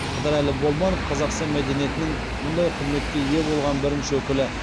қыдырәлі болманов қазақстан мәдениетінің мұндай құрметке ие болған бірінші өкілі